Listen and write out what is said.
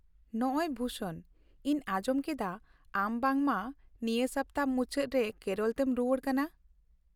ᱱᱚᱸᱜ ᱚᱭ ᱵᱷᱩᱥᱚᱱ , ᱤᱧ ᱟᱸᱡᱚᱢ ᱠᱮᱫᱟ ᱟᱢ ᱵᱟᱝᱢᱟ ᱱᱤᱭᱟᱹ ᱥᱟᱯᱛᱟ ᱢᱩᱪᱟᱹᱫ ᱨᱮ ᱠᱮᱨᱚᱞ ᱛᱮᱢ ᱨᱩᱣᱟᱹᱲ ᱠᱟᱱᱟ ?